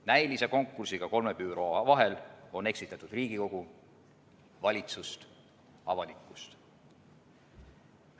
Näilise konkursiga kolme büroo vahel on eksitatud Riigikogu, valitsust, avalikkust.